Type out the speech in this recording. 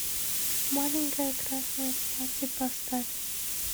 маленькое красное платье поставь